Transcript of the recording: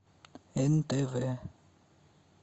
нтв